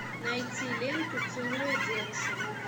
найти ленту целуя девушек